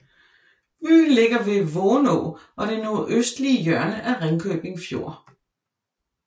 Byen ligger ved Vonå og det nordøstlige hjørne af Ringkøbing Fjord